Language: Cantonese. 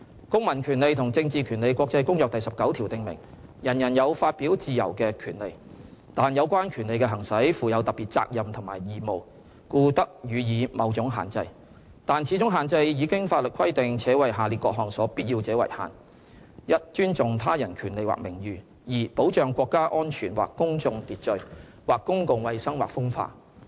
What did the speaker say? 《公民權利和政治權利國際公約》第十九條訂明，人人有發表自由的權利，但有關權利的行使，附有特別責任及義務，故得予以某種限制，但此種限制以經法律規定，且為下列各項所必要者為限：一尊重他人權利或名譽；二保障國家安全或公共秩序、或公共衞生或風化。